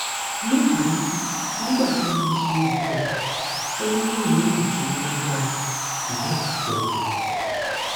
lónìí nígbà tí mo ṣeìtọ̀ ó ní òórùn tí ó lágbára ṣùgbọ́n kò pọ̀jù.